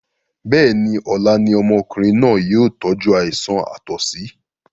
Bẹ́ẹ̀ni, ọlá ni ọmọkùnrin náà yìí ó tọju àìsàn àtọ̀sí